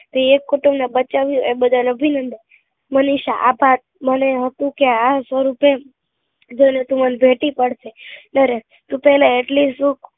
એક કુટુંબ ને બચાવ્યું એ બદલ અભિનંદન મનીષા આભાર મને હતું કે આ સ્વરૂપે ભૈલું તું મન ભેટી પડશે સરસ તું પહેલા આટલી સુખ